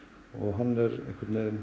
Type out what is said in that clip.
hann er